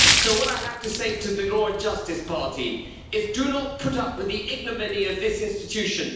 So what I have to say to the Law and Justice party is this do not put up with the ignominy of this institution.